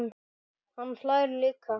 Hann hlær líka.